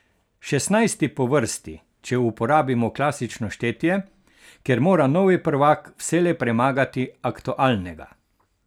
Šestnajsti po vrsti, če uporabimo klasično štetje, kjer mora novi prvak vselej premagati aktualnega.